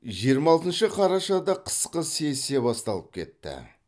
жиырма алтыншы қарашада қысқы сессия басталып кетті